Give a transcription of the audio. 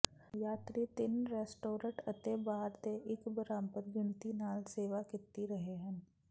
ਯਾਤਰੀ ਤਿੰਨ ਰੈਸਟੋਰਟ ਅਤੇ ਬਾਰ ਦੇ ਇੱਕ ਬਰਾਬਰ ਗਿਣਤੀ ਨਾਲ ਸੇਵਾ ਕੀਤੀ ਰਹੇ ਹਨ